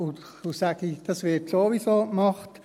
– Dazu sage ich: Das wird sowieso gemacht.